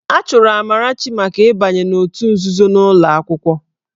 A chụrụ Amarachi maka ịbanye n'òtù nzuzo n'ụlọ akwụkwọ.